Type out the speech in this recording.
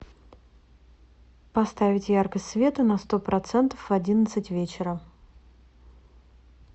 поставить яркость света на сто процентов в одиннадцать вечера